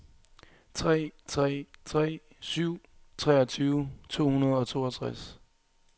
tre tre tre syv treogtyve to hundrede og toogtres